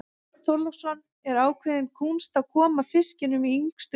Björn Þorláksson: Er ákveðin kúnst að koma fiskinum í yngstu kynslóðina?